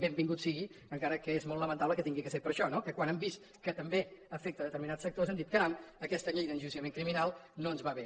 benvingut sigui encara que és molt lamentable que hagi de ser per això no que quan han vist que també afecta determinats sectors han dit caram aquesta llei d’enjudiciament criminal no ens va bé